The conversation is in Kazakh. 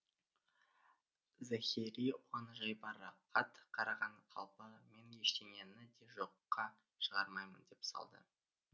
зэхери оған жайбарақат қараған қалпы мен ештеңені де жоққа шығармаймын деп салды